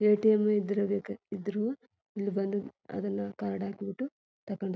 ATM ಇದ್ರೇ ಬೇಕ್ ಇದ್ರುನು ಇಲ್ಲಿ ಬಂದು ಅದನ ಕಾರ್ಡ್ ಹಾಕೆಬಿಟ್ಟು ತಕಂಡ್--